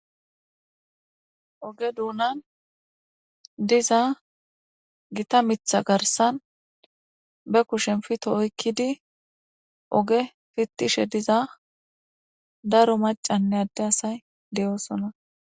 Oge dunani diza gita miththa garissan be kushshen pito oyikkidi oge pitishshe diza daro macaynne adde asay de"osona